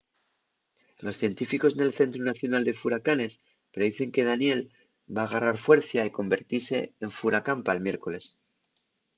los científicos nel centru nacional de furacanes predicen que danielle va garrar fuercia y convertise en furacán pal miércoles